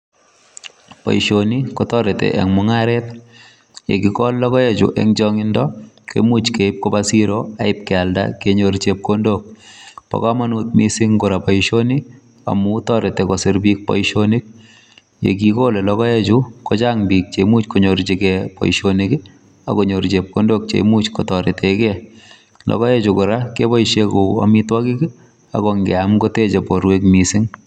Boisioni kotoreti en mung'aret ye kigol logoechu en chang'indo komuch keib koba siro ak ib kealda. Bo komonut mising kora boisioni amun toret kosir biik boisioni. Ye kigole logoechu kochnag biik che imuch konyorjige boisionik agonyor chepkondok che imuch kotoretenge. Logoechu kora keboisie kou amitwogik, ago ngeam koteche borwek mising.